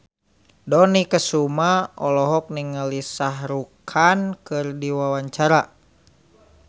Dony Kesuma olohok ningali Shah Rukh Khan keur diwawancara